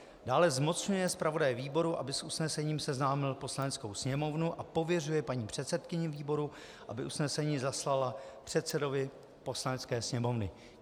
Dále zmocňuje zpravodaje výboru, aby s usnesením seznámil Poslaneckou sněmovnu, a pověřuje paní předsedkyni výboru, aby usnesení zaslala předsedovi Poslanecké sněmovny.